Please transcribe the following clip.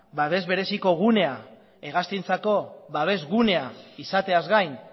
babes bereziko gunean hegaztientzako babesgunea izateaz gain